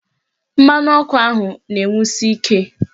Mmanụ ọkụ ahụ na-enwusi ike